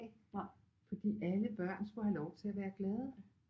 Fordi alle børn skulle have lov til at være glade